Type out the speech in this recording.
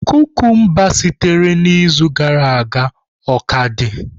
Kukumba sitere na izu gara aga o ka dị?